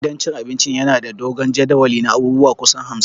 Gidan cin abincin yana da dogon jadawali na abubuwa kusan hamsin